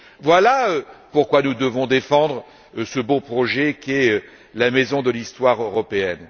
Voilà pourquoi nous devons défendre ce beau projet qu'est la Maison de l'histoire européenne.